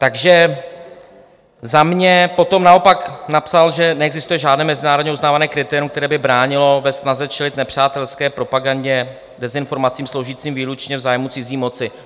Takže za mě potom naopak napsal, že neexistuje žádné mezinárodně uznávané kritérium, které by bránilo ve snaze čelit nepřátelské propagandě, dezinformacím sloužícím výlučně v zájmu cizí moci.